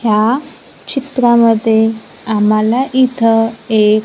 ह्या चित्रामध्ये आम्हाला इथं एक--